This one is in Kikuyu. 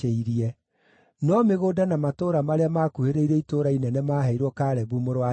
No mĩgũnda na matũũra marĩa maakuhĩrĩirie itũũra inene maaheirwo Kalebu mũrũ wa Jefune.